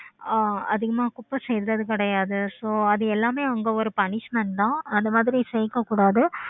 ஆஹ் அதிகமா குப்பை சேர்ந்ததும் கிடையாது. so அது எல்லாமே அங்க ஒரு punishment தான் அது மாதிரி சேர்க்க கூடாது.